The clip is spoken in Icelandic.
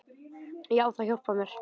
Já, það hjálpar mér.